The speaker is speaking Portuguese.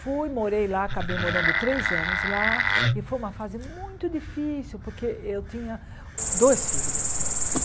Fui, morei lá, acabei morando três anos lá e foi uma fase muito difícil porque eu tinha dois filhos nesse momento.